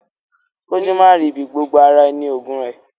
Kójú máa rì í ibi, gbogbo ara ni oògùn ẹ.